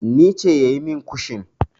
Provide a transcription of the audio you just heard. Ne ce yayi min kushin.